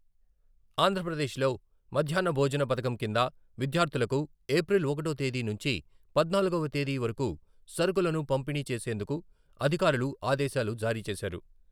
ఆంధ్రప్రదేశ్లో మధ్యాహ్న భోజన పథకం కింద విద్యార్థులకు ఏప్రిల్ ఒకటో తేదీ నుంచి పద్నాలుగవ తేదీ వరకు సరకులను పంపిణీ చేసేందుకు అధికారులు ఆదేశాలు జారీ చేశారు.